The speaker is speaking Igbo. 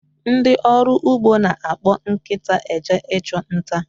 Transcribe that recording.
Ndị ọrụ ugbo na-akpọ nkịta eje ịchụ nta